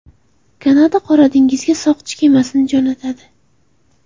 Kanada Qora dengizga soqchi kemasini jo‘natadi .